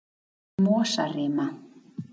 Mosarima